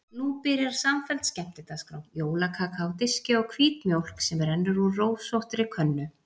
Nú byrjar samfelld skemmtidagskrá: jólakaka á diski og hvít mjólk sem rennur úr rósóttri könnu.